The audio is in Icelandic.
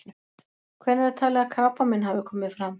Hvenær er talið að krabbamein hafi komið fram?